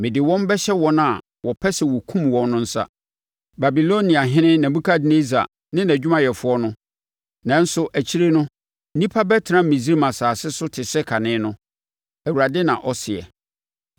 Mede wɔn bɛhyɛ wɔn a wɔpɛ sɛ wɔkum wɔn no nsa: Babiloniahene Nebukadnessar ne nʼadwumayɛfoɔ no. Nanso, akyire no, nnipa bɛtena Misraim asase so te sɛ kane no,” Awurade na ɔseɛ.